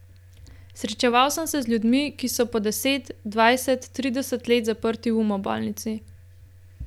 Srečeval sem se z ljudmi, ki so po deset, dvajset, trideset let zaprti v umobolnici.